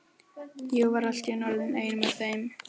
Ég var allt í einu orðinn einn með þeim.